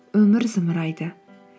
өмір зымырайды